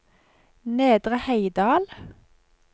Nedre Heidal